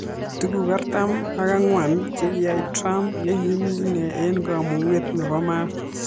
Tuguk artam ak angwan chekiyai trump yekimii inee eng kamunget nepo maat